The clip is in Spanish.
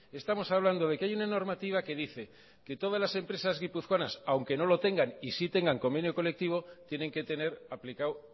estamos hablando de que hay una normativa que dice que todas las empresas guipuzcoanas aunque no lo tengan y sí tengan convenio colectivo tienen que tener aplicado